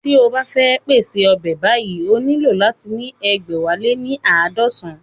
Tí o bá fẹ́ pèṣè ọbẹ̀ báyìí ó nílò láti ní egbẹ̀wáléníaadọsan